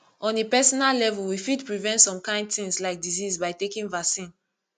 on a personal level we fit prevent some kimd things like disease by taking vaccine